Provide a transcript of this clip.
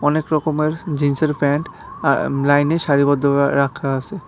অনেক রকমের স জিন্সের প্যান্ট আ্য লাইনে সারিবদ্ধভা রাখা আসে।